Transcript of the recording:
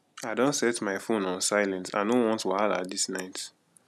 i don set my phone on silent i no want wahala this night